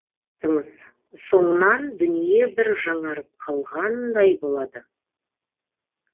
соңынан дүние бір жаңарып қалғандай болады